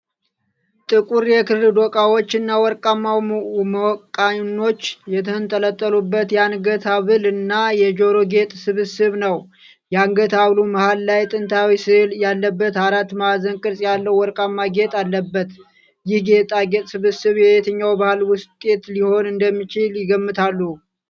ጥቁር የክር ዶቃዎች እና ወርቃማ መቃኖች የተንጠለጠሉበት የአንገት ሐብልና የጆሮ ጌጥ ስብስብ ነው። የአንገት ሐብሉ መሃል ላይ ጥንታዊ ሥዕል ያለበት አራት ማዕዘን ቅርጽ ያለው ወርቃማ ጌጥ አለበት። ይህ የጌጣጌጥ ስብስብ የየትኛው ባሕል ውጤት ሊሆን እንደሚችል ይገምታሉ?